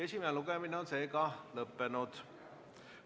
Esimene lugemine on lõppenud.